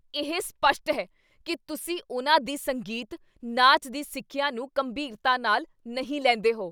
ਇਹ ਸਪੱਸ਼ਟ ਹੈ ਕੀ ਤੁਸੀਂ ਉਨ੍ਹਾਂ ਦੀ ਸੰਗੀਤ, ਨਾਚ ਦੀ ਸਿੱਖਿਆ ਨੂੰ ਗੰਭੀਰਤਾ ਨਾਲ ਨਹੀਂ ਲੈਂਦੇ ਹੋ।